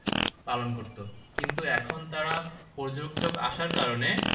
পালন করতো কিন্তু এখন তারা পর্যটক আসার কারনে